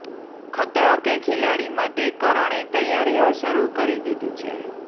ખતરો કે ખિલાડી માટે કરણે તૈયારીઓ શરૂ કરી દીધી છે